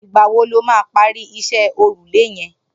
Nigbà wò ló mà pàri iṣẹ̀ órúlé yẹ̀n?